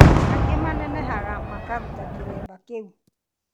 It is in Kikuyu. Angĩ manenehaga makaruta kĩremba kĩu